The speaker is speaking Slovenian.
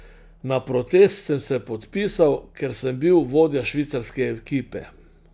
Na protest sem se podpisal, ker sem bil vodja švicarske ekipe.